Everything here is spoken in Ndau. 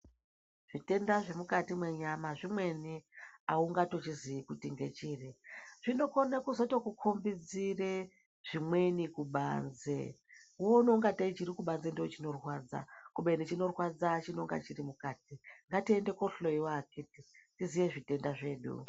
Zvitenda zvemukati mwenyama zvimweni haungatochizii kuti ngechiri. Zvinokone kuzotokukombidzire zvimweni kubanze, woona ungatei chirikubanze ndoochinorwadza, kubeni chinorwadza chinonga chiri mukati. Ngatiende koohloyiwa akhiti, tiziye zvitenda zvedu.